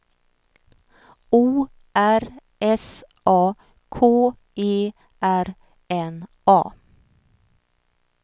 O R S A K E R N A